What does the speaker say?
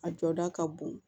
A jɔda ka bon